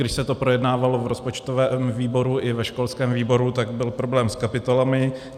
Když se to projednávalo v rozpočtovém výboru i ve školském výboru, tak byl problém s kapitolami.